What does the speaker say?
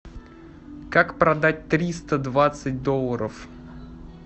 как продать триста двадцать долларов